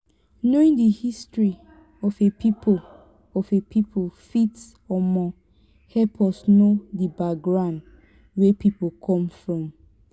knowing di history of a pipo of a pipo fit um help us know di background wey pipo come from